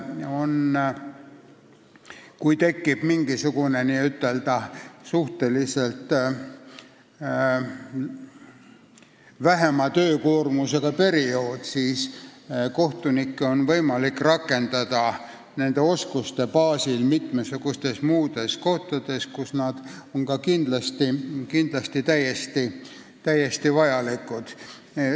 Kui tekib mingisugune suhteliselt väiksema töökoormusega periood, siis on kohtunikke võimalik rakendada nende oskuste baasil mitmesugustes muudes tegevustes, kus nad on ka kindlasti väga vajalikud.